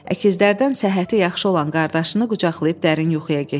Əkizlərdən səhhəti yaxşı olan qardaşını qucaqlayıb dərin yuxuya getdi.